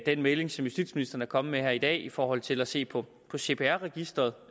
den melding som justitsministeren er kommet med her i dag i forhold til at se på cpr registeret